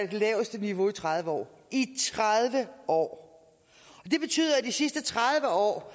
det laveste niveau i tredive år i tredive år det betyder at de sidste tredive år